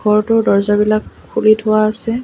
ঘৰটোৰ দৰ্জাবিলাক খুলি থোৱা আছে।